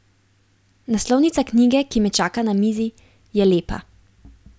Naslovnica knjige, ki me čaka na mizi, je lepa.